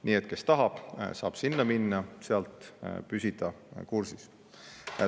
Nii et kes tahab, saab sinna minna, selle kaudu püsida kursis.